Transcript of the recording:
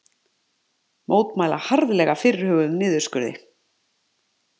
Mótmæla harðlega fyrirhuguðum niðurskurði